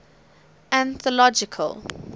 anthological